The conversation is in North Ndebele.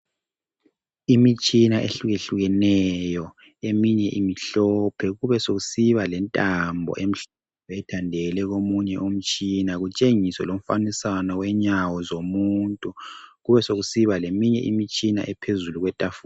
Imitshina ehluke hlukeneyo eminye imhlophe kube sokusiba lentambo emhlophe ethandele komunye umtshina kutshengiswe lomfanekiswano wenyawo zomuntu kubesokusiba leminye imitshina ephezulu kwetafula .